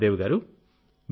సుఖదేవి గారూ